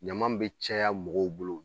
Ɲama be caya mɔgɔw bolo